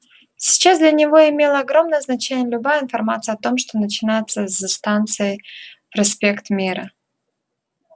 сейчас для него имела огромное значение любая информация о том что начинается за станцией проспект мира